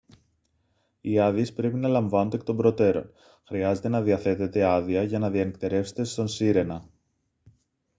οι άδειες πρέπει να λαμβάνονται εκ των προτέρων χρειάζεται να διαθέτετε άδεια για να διανυκτερεύσετε στον sirena